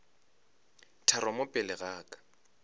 tharo mo pele ga ka